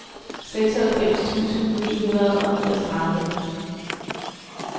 seksoghalvfems tusind ni hundrede og niogtredive